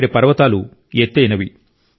ఇక్కడి పర్వతాలు ఎత్తయినవి